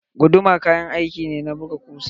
Guduma kayan aiki ne na buga kusa.